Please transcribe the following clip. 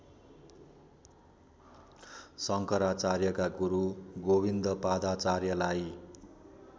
शंकराचार्यका गुरू गोविन्दपादाचार्यलाई